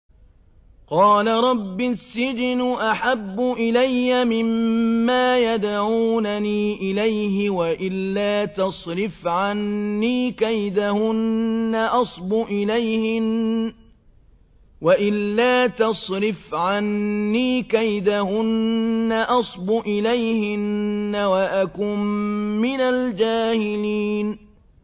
قَالَ رَبِّ السِّجْنُ أَحَبُّ إِلَيَّ مِمَّا يَدْعُونَنِي إِلَيْهِ ۖ وَإِلَّا تَصْرِفْ عَنِّي كَيْدَهُنَّ أَصْبُ إِلَيْهِنَّ وَأَكُن مِّنَ الْجَاهِلِينَ